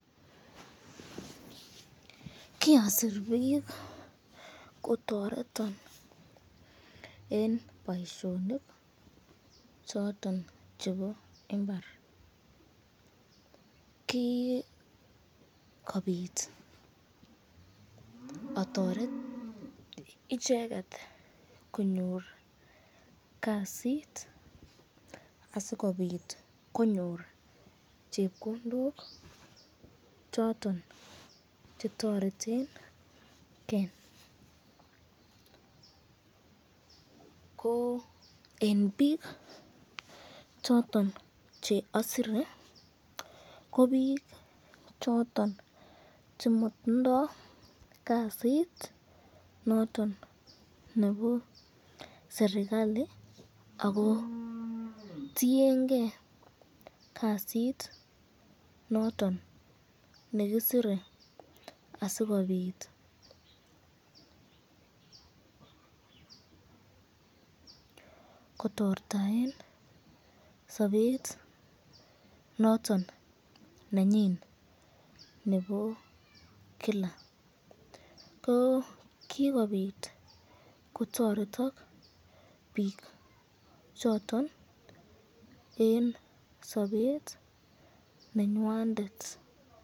Kiasir bik kotoretin eng boisyonik choton chebo imbar, kikobit atoret icheket konyor kasit asikobit konyor chepkondok choton chetoretenken ,ko eng bik choton che asire ko bik choton che matindo kasit nondon nebo serikalit ako tienke kasit noton nekisire asikobit kotortaen sabet noton nenyin nebo Kila, ko kikobit kotoretin bik choton eng sabet nenywandet.